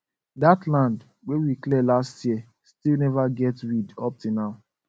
that land wey we clear last year still never get weed up till now